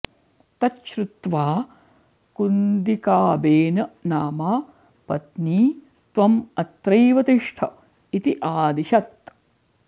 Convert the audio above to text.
तत् श्रुत्वा कुन्दिकाबेन नामा पत्नी त्वम् अत्रैव तिष्ठ इति आदिशत्